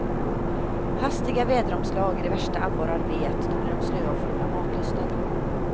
Hastiga väderomslag är det värsta abborrar vet, då blir de slöa och förlorar matlusten.